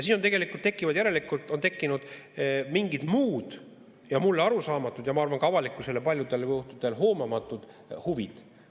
Järelikult on tekkinud mingid muud ja mulle arusaamatud ja, ma arvan, ka avalikkusele paljudel juhtudel hoomamatud huvid.